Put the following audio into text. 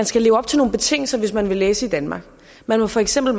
skal leve op til nogle betingelser hvis man vil læse i danmark man må for eksempel